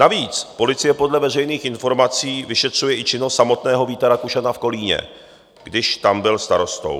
Navíc policie podle veřejných informací vyšetřuje i činnost samotného Víta Rakušana v Kolíně, když tam byl starostou.